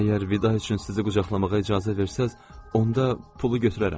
Əgər vida üçün sizi qucaqlamağa icazə versəniz, onda pulu götürərəm.